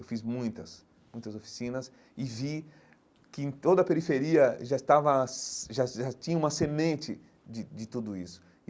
Eu fiz muitas muitas oficinas e vi que em toda a periferia já estava já já tinha uma semente de de tudo isso.